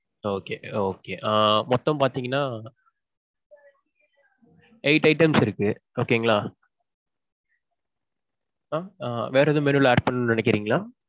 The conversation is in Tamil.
okay okay. ஆ மொத்தம் பாத்தீங்கன்னா eight items இருக்கு okay ங்களா? ஆஹ் வேற ஏதும் menu ல add பண்ணணும்னு நினைக்கிறீங்களா?